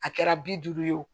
A kɛra bi duuru ye wo